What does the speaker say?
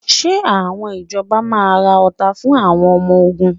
Ṣé àwọn ìjọba máa ra ọta fún àwọn ọmọ ogun?